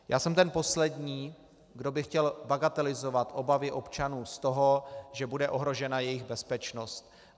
Já jsem ten poslední, kdo by chtěl bagatelizovat obavy občanů z toho, že bude ohrožena jejich bezpečnost.